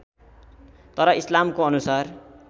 तर ईस्लामको अनुसार